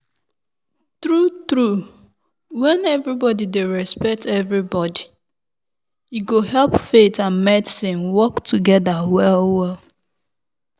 true-true when everybody dey respect everybody e go help faith and medicine work together well-well.